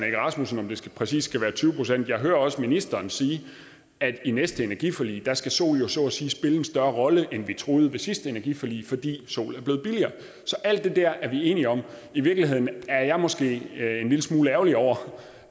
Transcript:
egge rasmussen om det præcis skal være tyve procent jeg hører også ministeren sige at i næste energiforlig skal sol jo så at sige spille en større rolle end vi troede ved sidste energiforlig fordi sol er blevet billigere så alt det der er vi enige om i virkeligheden er jeg måske en smule ærgerlig over